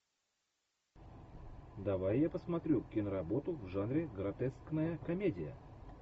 давай я посмотрю киноработу в жанре гротескная комедия